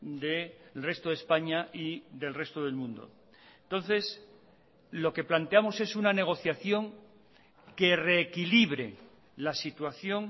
del resto de españa y del resto del mundo entonces lo que planteamos es una negociación que reequilibre las situación